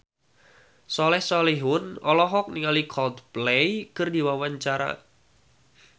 Soleh Solihun olohok ningali Coldplay keur diwawancara